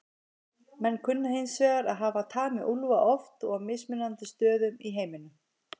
Menn kunna hins vegar að hafa tamið úlfa oft og á mismunandi stöðum í heiminum.